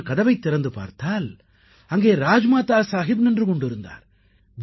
நான் கதவைத் திறந்து பார்த்தால் அங்கே ராஜ்மாதா சாஹிப் நின்று கொண்டிருந்தார்